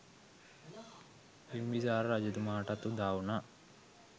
බිම්බිසාර රජතුමාටත් උදාවුනා.